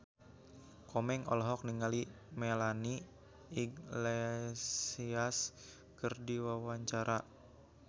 Komeng olohok ningali Melanie Iglesias keur diwawancara